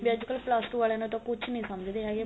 B ਅੱਜਕਲ plus two ਵਾਲੀਆਂ ਨੂੰ ਤਾਂ ਕੁੱਝ ਨੀ ਸਮਝਦੇ ਹੈਗੇ